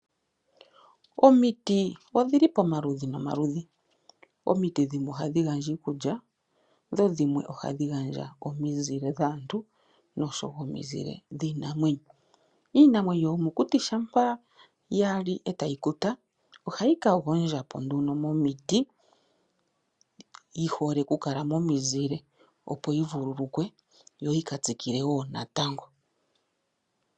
Omiti odhili pomaludhi nomaludhi. Omiti dhimwe ohadhi gandja iikulya dho dhimwe ohadhi gandja omizile dhaantu noshowo omizile dhiinamwenyo. Iinamwenyo yomokuti shampa ya li etayi kuta ohayi ka gondjapo nduno momiti yihole oku kala momuzile opo yi vuululukwe yo yika tsikile woo natango.